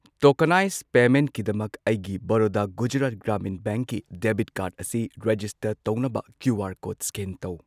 Tokenise ꯄꯦꯃꯦꯟꯠꯀꯤꯗꯃꯛ ꯑꯩꯒꯤ ꯕꯔꯣꯗꯥ ꯒꯨꯖꯔꯥꯠ ꯒ꯭ꯔꯥꯃꯤꯟ ꯕꯦꯡꯀꯤ ꯗꯦꯕꯤꯠ ꯀꯥꯔꯗ ꯑꯁꯤꯔꯦꯖꯤꯁ ꯇꯔ ꯇꯧꯅꯕ ꯀ꯭ꯌꯨ ꯑꯥꯔ ꯀꯣꯗ ꯁ꯭ꯀꯦꯟ ꯇꯧ꯫